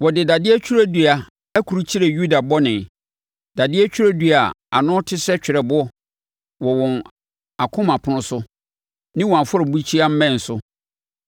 “Wɔde dadeɛ twerɛdua akrukyire Yuda bɔne, dadeɛ twerɛdua a ano te sɛ twerɛboɔ, wɔ wɔn akoma apono so ne wɔn afɔrebukyia mmɛn so.